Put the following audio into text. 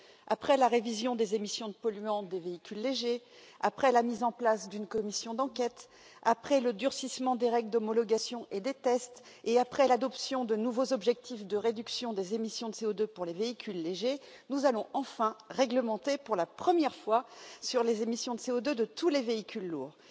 Après la révision des émissions de polluants des véhicules légers, après la mise en place d'une commission d'enquête, après le durcissement des règles d'homologation et des tests, et après l'adoption de nouveaux objectifs de réduction des émissions de CO2 pour les véhicules légers, nous allons enfin réglementer, pour la première fois, les émissions de CO2 de tous les véhicules lourds.